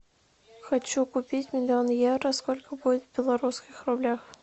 хочу купить миллион евро сколько будет в белорусских рублях